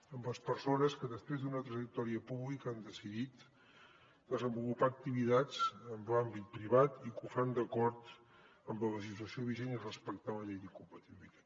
amb les persones que després d’una trajectòria pública han decidit desenvolupar activitats en l’àmbit privat i que ho fan d’acord amb la legislació vigent i respectant la llei d’incompatibilitats